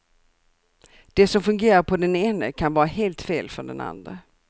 Det som fungerar på den ene kan vara helt fel för den andre.